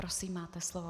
Prosím, máte slovo.